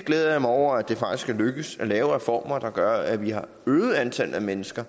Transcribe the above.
glæder mig over at det faktisk er lykkedes at lave reformer der gør at vi har øget antallet af mennesker